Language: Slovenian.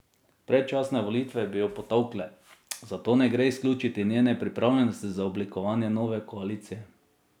Predčasne volitve bi jo potolkle, zato ne gre izključiti njene pripravljenosti za oblikovanje nove koalicije.